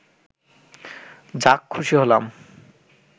যাক খুশি হলাম